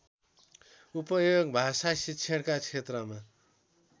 उपयोग भाषाशिक्षणका क्षेत्रमा